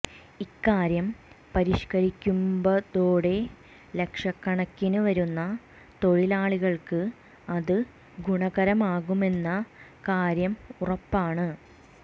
ഇക്കാര്യം പരിഷ്ക്കരിക്കുമ്പതോടെ ലക്ഷക്കണക്കിന് വരുന്ന തൊഴിലാളികൾക്ക് അത് ഗുണകരമാകുമെന്ന കാര്യം ഉറപ്പാണ്